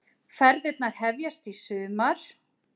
Ferðirnar hefjast í sumar